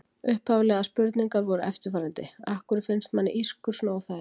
Upphaflegar spurningar voru eftirfarandi: Af hverju finnst manni ískur svona óþægilegt?